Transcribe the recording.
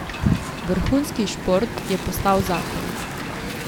Vrhunski šport je postal zakon.